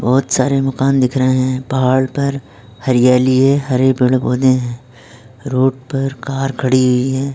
बहुत सारे माकन दिख रहें हैं पहाड़ पर हली-हली हरे पेड़ पौधे हैं रोड कार खड़ी हुई है।